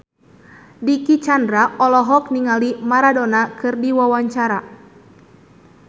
Dicky Chandra olohok ningali Maradona keur diwawancara